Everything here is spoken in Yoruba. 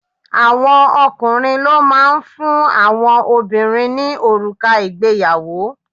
Àwọn ọkùnrin ló máa ń fún àwọn obìnrin ní òrùka ìgbéyàwó